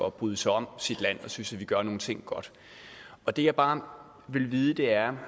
at bryde sig om sit land og synes at vi gør nogle ting godt det jeg bare vil vide er